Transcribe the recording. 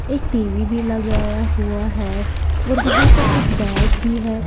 एक टी_वी भी लगाया हुआ है और वहां पर एक बैग भी है।